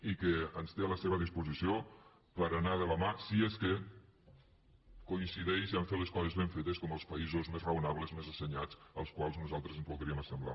i ens té a la seva disposició per anar de la mà si és que coincideix a fer les coses ben fetes com els països més raonables més assenyats als quals nosaltres ens voldríem assemblar